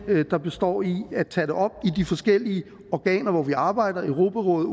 der består i at tage det op i de forskellige organer hvor vi arbejder europarådet